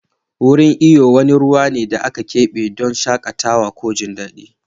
Wurin iyo wani ruwa ne da aka kebe don shakatawa ko jin daɗi.